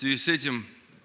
в связи с этим